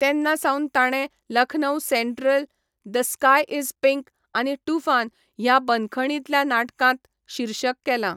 तेन्नासावन ताणें 'Lucknow central', 'the sky is pink' आनी 'टूफान' ह्या बंदखणींतल्या नाटकांत शीर्षक केलां.